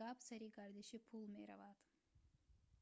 гап сари гардиши пул меравад